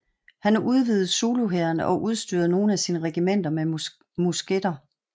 Han udvidede zuluhæren og udstyrede nogle af sine regimenter med musketter